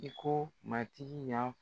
I ko matigi y'a